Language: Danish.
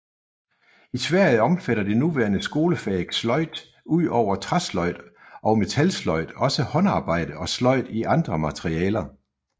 I Sverige omfatter det nuværende skolefag slöjd ud over træsløjd og metalsløjd også håndarbejde og sløjd i andre materialer